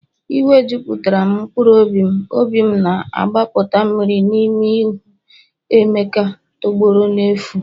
Iwe juputara'm mkpụrụ obi'm, obi'm na-agbapụta mmiri n'ime ịhụ emeka tọgbọrọ n'efu